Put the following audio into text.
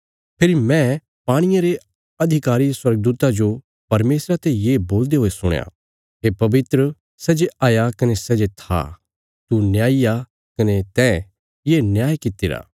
फेरी मैं पाणिये रे अधिकारी स्वर्गदूता जो परमेशरा ते ये बोलदे हुये सुणया हे पवित्र सै जे हया कने सै जे था तू न्यायी आ कने तैं ये न्याय कित्तिरा